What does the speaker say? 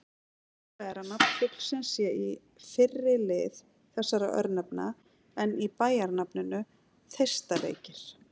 Líklegra er að nafn fuglsins sé í fyrri lið þessara örnefna en í bæjarnafninu Þeistareykir.